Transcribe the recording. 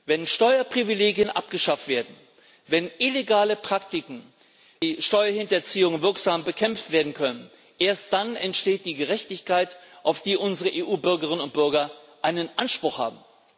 Wenn Steuerprivilegien abgeschafft werden, wenn illegale Praktiken wie Steuerhinterziehung wirksam bekämpft werden können, erst dann entsteht die Gerechtigkeit, auf die unsere EU Bürgerinnen und Bürger einen Anspruch haben.